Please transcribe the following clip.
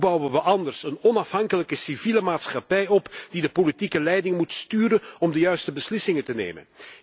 Want hoe bouwen we anders een onafhankelijke civiele maatschappij op die de politieke leiding moet sturen om de juiste beslissingen te nemen?